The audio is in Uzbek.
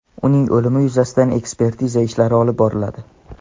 uning o‘limi yuzasidan ekspertiza ishlari olib boriladi.